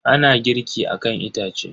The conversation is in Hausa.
Ana girki akan itace.